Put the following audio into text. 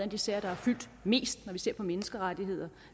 af de sager der har fyldt mest når vi har set på menneskerettigheder